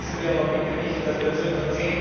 Vergessen wir aber bitte nicht, dass wir nur ca.